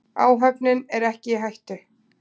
Áhöfnin er ekki í hættu.